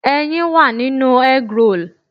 Ẹyin wà nínú eggroll.